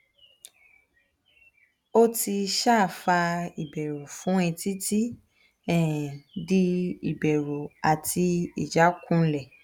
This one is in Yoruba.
o ti um fa iberu fun e titi um di iberu ati ijakunle